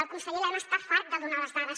el conseller elena està fart de donar ne les dades